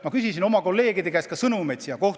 Ma küsisin oma kolleegide käest ka sõnumeid siia saali.